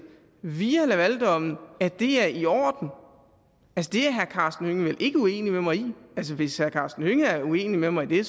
via lavaldommen at det er i orden det er herre karsten hønge vel ikke uenig med mig i altså hvis herre karsten hønge er uenig med mig i det